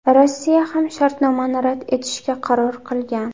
Rossiya ham shartnomani rad etishga qaror qilgan.